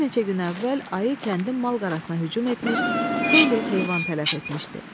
Bir neçə gün əvvəl ayı kəndin malqarasina hücum etmiş, xeyli heyvan tələf etmişdi.